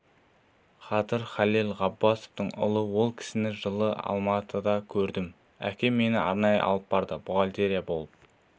қадыр халел ғаббасовтың ұлы ол кісіні жылы алматыда көрдім әкем мені арнайы алып барды бухгалтер болып